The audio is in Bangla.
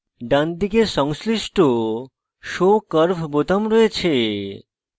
ডানদিকে সংশ্লিষ্ট show curve বোতাম রয়েছে